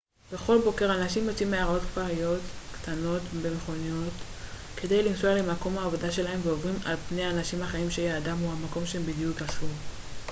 בכל בוקר אנשים יוצאים מעיירות כפריות קטנות במכוניות כדי לנסוע למקום העבודה שלהם ועוברים על פני אנשים אחרים שיעדם הוא המקום שהם בדיוק עזבו